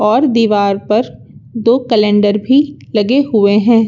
और दीवार पर दो कैलेंडर भी लगे हुए हैं।